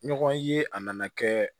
Ɲɔgɔn ye a nana kɛ